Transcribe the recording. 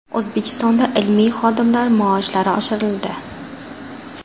O‘zbekistonda ilmiy xodimlar maoshlari oshirildi.